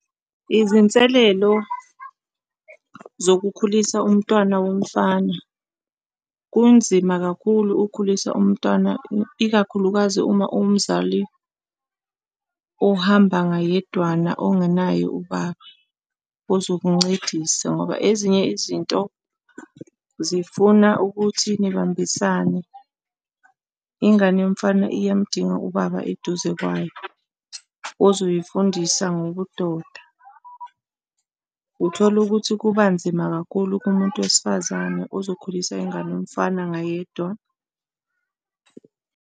Izinselelo zokukhulisa umntwana womfana. Kunzima kakhulu ukukhulisa umntwana, ikakhulukazi uma uwumzali ohamba ngayedwana ongenaye ubaba, uzokuncedisa ngoba ezinye izinto zifuna ukuthi nibambisane. Ingane yomfana iyamdinga ubaba eduze kwayo, ozoyifundisa ngobudoda. Uthola ukuthi kubanzima kakhulu kumuntu wesifazane ozokhulisa ingane yomfana ngayedwa.